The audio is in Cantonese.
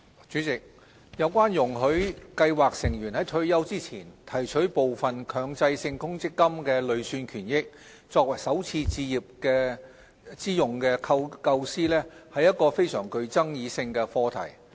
主席，有關容許計劃成員在退休前提取部分強制性公積金累算權益，作首次置業之用的構思，是個具爭議性的課題。